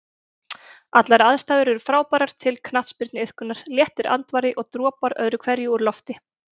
Allar aðstæður er frábærar til knattspyrnuiðkunar, léttur andvari og dropar öðru hverju úr lofti.